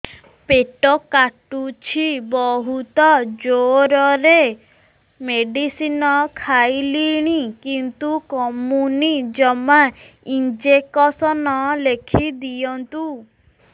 ପେଟ କାଟୁଛି ବହୁତ ଜୋରରେ ମେଡିସିନ ଖାଇଲିଣି କିନ୍ତୁ କମୁନି ଜମା ଇଂଜେକସନ ଲେଖିଦିଅନ୍ତୁ